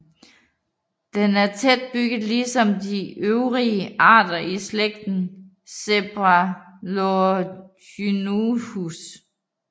Den er tæt bygget ligesom de øvrige arter i slægten Cephalorhynchus